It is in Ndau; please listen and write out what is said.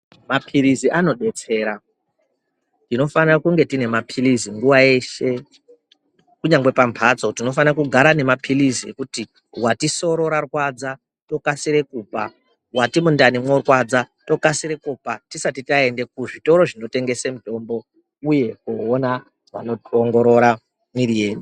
Mapirizi anodetsera tinofana kunge tine mapirizi nguva yeshe kunyangwe pambatso tinofana kugara ne mapirizi ekuti wati soro ra rwadza tokasire kupa, wati mundani mworwadza tokasire kupa tisati taende kuzvitoro zvinotengese mitombo uye koona vanoongorora mwiri yedu.